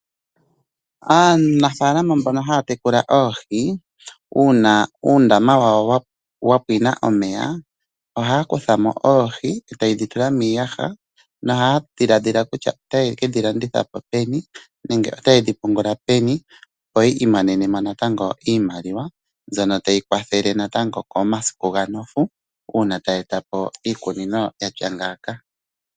Aanafalama mbono haya tekula oohi uuna uundama wawo wa pwina omeya, ohaya kutha mo oohi e taye dhi tula miiyaha. Nohaya dhiladhila kutya otaye ke dhi landitha po peni nenge otaye dhi pungula peni? Opo ya imonene mo natango iimaliwa mbyono tayi kwathele natango komasiku ga nofu, uuna taya eta po iikunino yatya ngaaka.